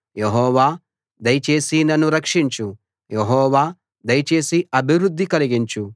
యెహోవా దయచేసి నన్ను రక్షించు యెహోవా దయచేసి అభివృద్ధి కలిగించు